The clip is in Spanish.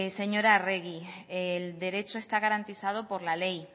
señora arregi el derecho está garantizado por la ley